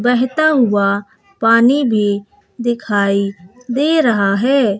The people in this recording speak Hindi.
बहेता हुआ पानी भी दिखाई दे रहा है।